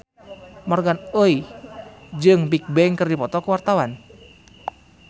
Morgan Oey jeung Bigbang keur dipoto ku wartawan